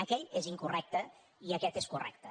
aquell és incorrecte i aquest és correcte